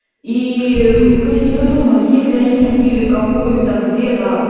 и пусть не выдумывают если они купили какую то где